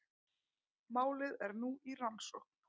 Málið er nú í rannsókn